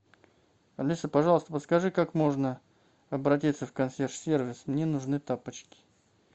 алиса пожалуйста подскажи как можно обратиться в консьерж сервис мне нужны тапочки